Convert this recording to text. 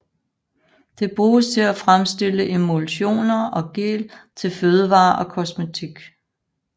Det bruges til at fremstille emulsioner og gel til fødevarer og kosmetik